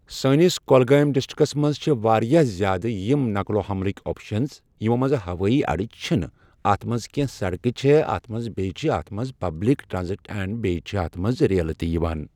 سٲنِس کۄلگٲمۍ ڈسٹرکٹس منٛز چھِ واریاہ زیٛادٕ یِم نقل و حملٕکۍ آپشنز یِمو منٛز ہوٲیی اڈٕ چھ نہٕ اَتھ منٛز کٮ۪نٛہہ، سڑکہٕ چھےٚ اَتھ منٛز بیٚیہِ چھِ اَتھ منٛز پبلک ٹرانز اینٛڈ بیٚیہِ چھِ اَتھ منٛز ریلہٕ تہِ یِوان